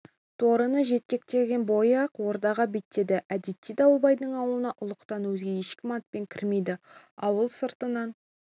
торыны жетектеген бойы ақ ордаға беттеді әдетте дауылбайдың ауылына ұлықтан өзге ешкім атпен кірмейді ауыл сыртынан